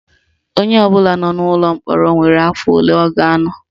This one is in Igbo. Onye ọbụla nọ n'ụlọ mkpọrọ nwere afọ ole ọ ga-anọ